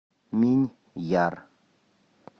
миньяр